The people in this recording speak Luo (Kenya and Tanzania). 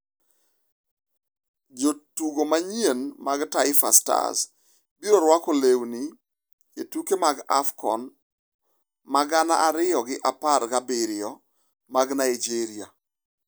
Jotugo manyien mag Taifa Stars biro rwako lewni e tuke mag AFCON ma gana ariyo gi apar gabiriyo mag Naijeria